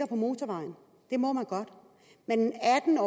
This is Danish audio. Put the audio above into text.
på motorvejen det må man godt men en atten